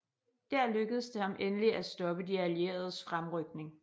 Der lykkedes det ham endelig at stoppe de allieredes fremrykning